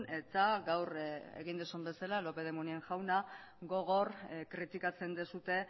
eta gaur egin duzun bezala lópez de munain jauna gogor kritikatzen duzue